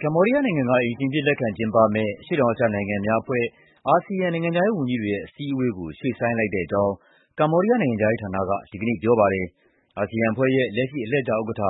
ကမ္ဘောဒီးယားနိုင်ငံက အိမ်ရှင်အဖြစ်လက်ခံကျင်းပမယ့် အရှေ့တောင်အာရှနိုင်ငံများအဖွဲ့ အာဆီယံ နိုင်ငံခြားရေးဝန်ကြီးတွေရဲ့ အစည်းအဝေးကို ရွှေ့ဆိုင်းလိုက်တဲ့အကြောင်း ကမ္ဘောဒီးယားနိုင်ငံခြားရေးဌာနက ဒီကနေ့ ပြောပါတယ်။ အာဆီယံအဖွဲ့ရဲ့အလှည့်ကျဥက္ကဋ္ဌ